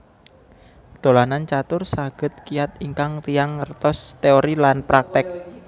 Dolanan catur saged kiyat ingkang tiyang ngertos teori lan praktek